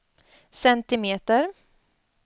centimeter